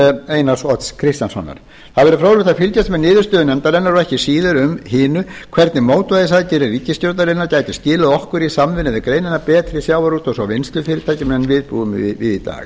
einars odds kristjánssonar það verður fróðlegt að fylgjast með niðurstöðu nefndarinnar og ekki síður hinu hvernig mótvægisaðgerðir ríkisstjórnarinnar gætu skilað okkur í samvinnu við greinina betri sjávarútvegs og vinnslufyrirtækjum en við búum við í dag